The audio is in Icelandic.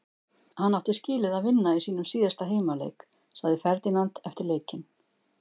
Hann átti skilið að vinna í sínum síðasta heimaleik, sagði Ferdinand eftir leikinn.